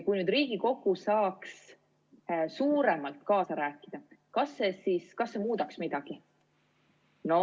Kui nüüd Riigikogu saaks suuremalt kaasa rääkida, kas see muudaks midagi?